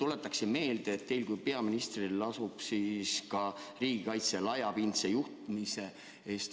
Tuletan meelde, et teil kui peaministril lasub vastutus ka riigikaitse laiapindse juhtimise eest.